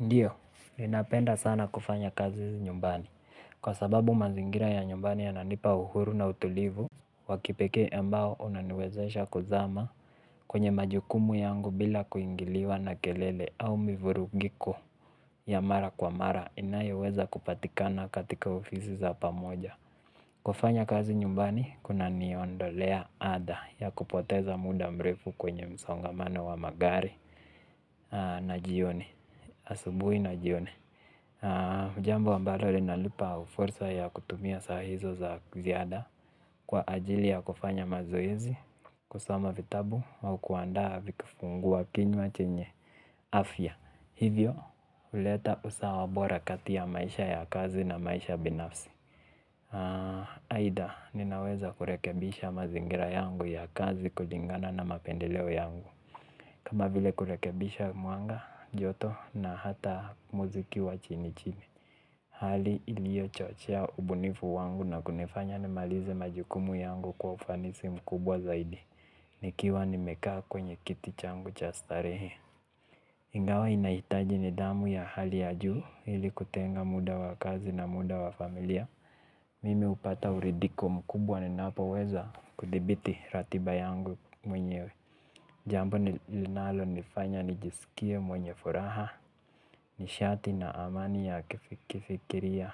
Ndiyo, ninapenda sana kufanya kazi nyumbani, kwa sababu mazingira ya nyumbani yananipa uhuru na utulivu. Wakipeke mbao unaniwezesha kuzama kwenye majukumu yangu bila kuingiliwa na kelele au mivurugiko. Yamara kwa mara inayoweza kupatikana katika ofisi za pamoja kufanya kazi nyumbani, kuna niondolea ada ya kupoteza muda mrefu kwenye msongamane wa magari. Na jioni, asubuhi na jioni Mujambo ambalo linalipa ufursa ya kutumia sahizo za kziada kwa ajili ya kufanya mazoezi kusoma vitabu au kuandaa vikifungua kinywa chenye afya hivyo, uleta usawabora katia maisha ya kazi na maisha binafsi Aida, ninaweza kurekebisha mazingira yangu ya kazi kulingana na mapendeleo yangu. Kama vile kurekebisha muanga, joto na hata muziki wa chini chini. Hali ilio chochea ubunifu wangu na kunifanya ni malize majukumu yangu kwa ufanisi mkubwa zaidi. Nikiwa nimekaa kwenye kiti changu chastarehe. Ingawa inaitaji ni damu ya hali ya juu ili kutenga muda wa kazi na muda wa familia. Mimi upata uridiko mkubwa ninapo weza kudibiti ratiba yangu mwenyewe. Jambo nilinalo nifanya nijisikie mwenye furaha. Nishati na amani ya kifikiria